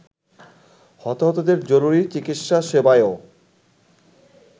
হতাহতদের জরুরি চিকিৎসা সেবায়ও